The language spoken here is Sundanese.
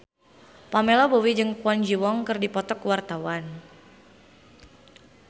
Pamela Bowie jeung Kwon Ji Yong keur dipoto ku wartawan